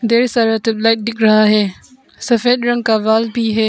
ढ़ेर सारा tube light दिख रहा है। सफेद रंग का वाल भी है।